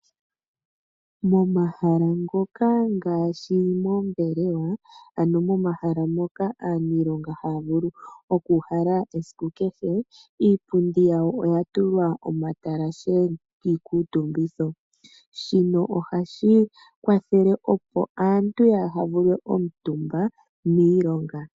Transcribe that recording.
Momahala ngoka ngaashi moombelewa, ano momahala ngoka aaniilonga haya vulu okuuhala esiku kehe iipundi yawo oya tulwa omatalashe kiikuutumbitho. Ohashi kwathele opo aantu yaha vuulwe omutumba miilonga.